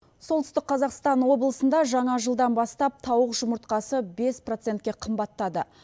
солтүстік қазақстан облысында жаңа жылдан бастап тауық жұмыртқасы бес процентке қымбаттады